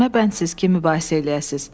Himə bənsiz kim mübarizə eləyəsiniz.